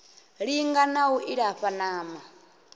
linga na u ilafha ṋama